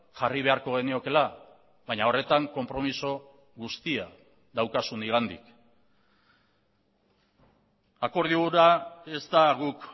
jarri beharko geniokeela baina horretan konpromiso guztia daukazu nigandik akordio hura ez da guk